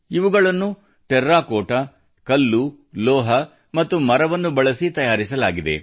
ಇವುಗಳನ್ನು ಟೆರಾಕೋಟಾ ಕಲ್ಲು ಲೋಹ ಮತ್ತು ಮರವನ್ನು ಬಳಸಿ ತಯಾರಿಸಲಾಗಿವೆ